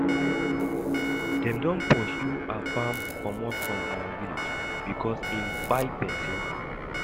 Dem don pursue Afam commot from our village because im kpai person